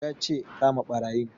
Ya ce 'Kama ɓarayin'!